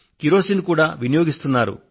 kerosene కూడా వినియోగిస్తున్నారు